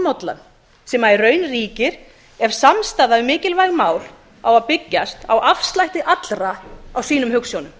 lognmollan sem í raun ríkir ef samstaða um mikilvæg mál á að byggjast á afslætti allra á sínum hugsjónum